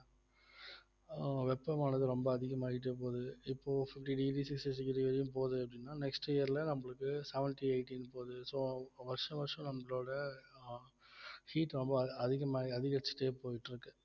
ஆஹ் வெப்பமானது ரொம்ப அதிகமாயிட்டே போகுது இப்போ fifty degree sixty degree வரையும் போகுது அப்படின்னா next year ல நம்மளுக்கு seventy eighty ன்னு போகுது so வருஷம் வருஷம் நம்மளோட அஹ் heat ரொம்ப அதி~ அதிகமா அதிகரிச்சுட்டே போயிட்டு இருக்கு